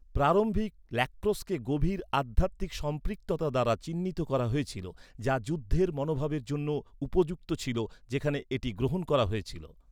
প্রারম্ভিক ল্যাক্রোসকে গভীর আধ্যাত্মিক সম্পৃক্ততা দ্বারা চিহ্নিত করা হয়েছিল, যা যুদ্ধের মনোভাবের জন্য উপযুক্ত ছিল যেখানে এটি গ্রহণ করা হয়েছিল।